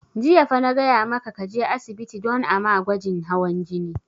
Jiya fa na gaya maka ka je asibiti don a ma gwajin hawan jini!